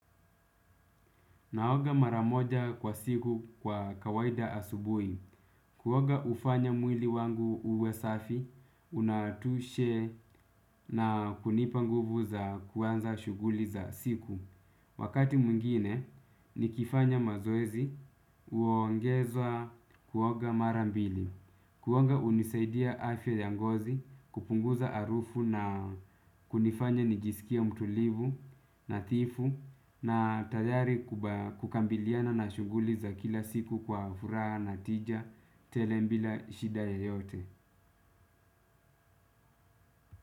Naoga mara moja kwa siku kwa kawaida asubui, kuoga ufanya mwili wangu uwe safi, unatushe na kunipa nguvu za kuanza shuguli za siku. Wakati mwingine nikifanya mazoezi uoongeza kuoga mara mbili, kuoga unisaidia afya ya ngozi kupunguza arufu na kunifanya nijisikie mtulivu nathifu na tayari kukambiliana na shuguli za kila siku kwa furaha na tija tele mbila shida yoyote.